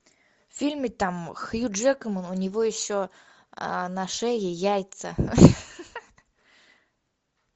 в фильме там хью джекман у него еще на шее яйца